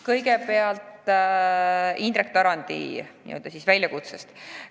Kõigepealt Indrek Tarandi n-ö väljakutsest.